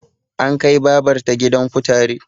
An kai babar ta gidan kutare